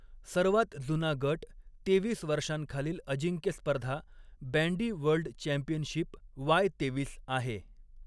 सर्वात जुना गट तेवीस वर्षांखालील अजिंक्यस्पर्धा, बॅंडी वर्ल्ड चॅम्पियनशिप वाय तेवीस आहे.